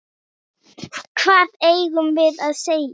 Hvað eigum við að segja?